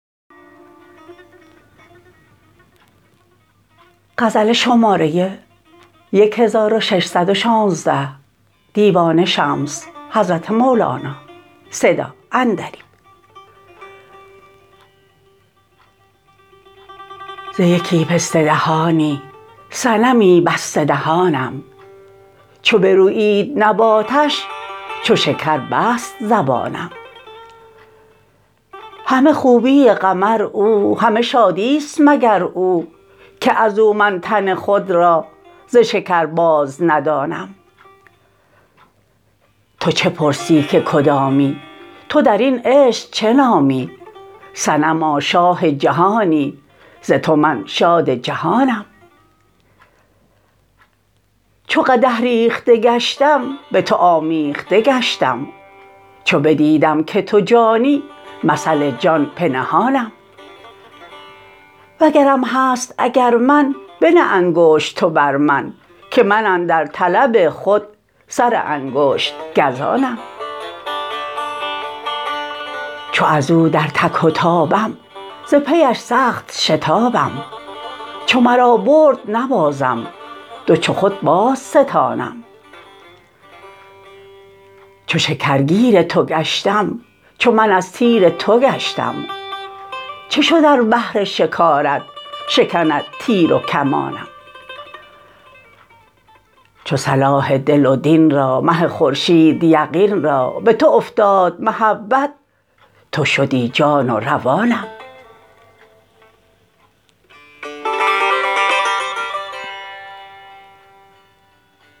ز یکی پسته دهانی صنمی بسته دهانم چو برویید نباتش چو شکر بست زبانم همه خوبی قمر او همه شادی است مگر او که از او من تن خود را ز شکر بازندانم تو چه پرسی که کدامی تو در این عشق چه نامی صنما شاه جهانی ز تو من شاد جهانم چو قدح ریخته گشتم به تو آمیخته گشتم چو بدیدم که تو جانی مثل جان پنهانم وگرم هست اگر من بنه انگشت تو بر من که من اندر طلب خود سر انگشت گزانم چو از او در تک و تابم ز پیش سخت شتابم چو مرا برد به نارم دو چو خود بازستانم چو شکرگیر تو گشتم چو من از تیر تو گشتم چه شد ار بهر شکارت شکند تیر و کمانم چو صلاح دل و دین را مه خورشید یقین را به تو افتاد محبت تو شدی جان و روانم